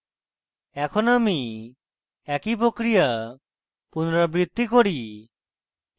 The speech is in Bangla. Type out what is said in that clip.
এখন আমি একই প্রক্রিয়া পুনরাবৃত্তি করি